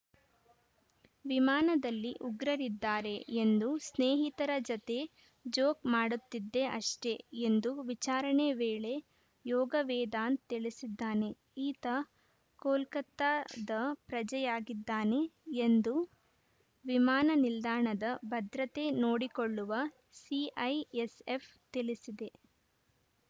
ವಿಮಾನದಲ್ಲಿ ಉಗ್ರರಿದ್ದಾರೆ ಎಂದು ಸ್ನೇಹಿತರ ಜತೆ ಜೋಕ್‌ ಮಾಡುತ್ತಿದ್ದೆ ಅಷ್ಟೆಎಂದು ವಿಚಾರಣೆ ವೇಳೆ ಯೋಗವೇದಾಂತ್‌ ತಿಳಿಸಿದ್ದಾನೆ ಈತ ಕೋಲ್ಕತಾದ ಪ್ರಜೆಯಾಗಿದ್ದಾನೆ ಎಂದು ವಿಮಾನ ನಿಲ್ದಾಣದ ಭದ್ರತೆ ನೋಡಿಕೊಳ್ಳುವ ಸಿಐಎಸ್‌ಎಫ್‌ ತಿಳಿಸಿದೆ